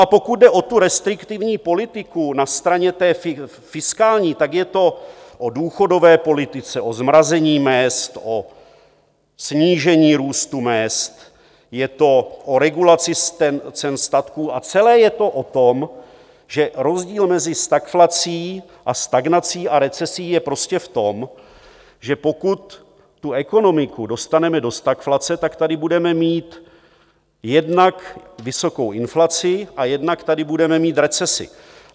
A pokud jde o tu restriktivní politiku na straně té fiskální, tak je to o důchodové politice, o zmrazení mezd, o snížení růstu mezd, je to o regulaci cen statků a celé je to o tom, že rozdíl mezi stagflací a stagnací a recesí je prostě v tom, že pokud tu ekonomiku dostaneme do stagflace, tak tady budeme mít jednak vysokou inflaci a jednak tady budeme mít recesi.